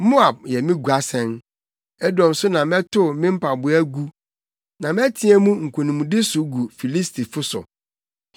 Moab yɛ me guasɛn, Edom so na metow me mpaboa gu; na meteɛ mu nkonimdi so gu Filistifo so.”